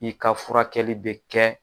I ka furakɛli bɛ kɛ